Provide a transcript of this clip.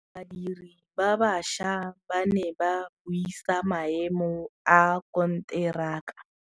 Badiri ba baša ba ne ba buisa maêmô a konteraka.